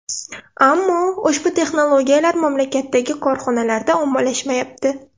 Ammo ushbu texnologiyalar mamlakatdagi korxonalarda ommalashmayapti.